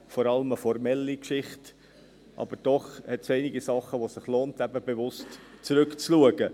Das ist vor allem eine formelle Geschichte, aber doch hat es einige Sachen, bei denen es sich eben lohnt, zurückzuschauen.